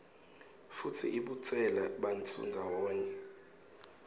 futsi ibutsela bantfu ndzawonye